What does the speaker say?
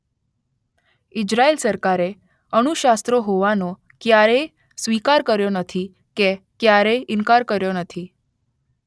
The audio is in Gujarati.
ઇઝરાયેલ સરકારે અણુશસ્ત્રો હોવાનો ક્યારેય સ્વીકાર કર્યો નથી કે ક્યારેય ઇનકાર કર્યો નથી.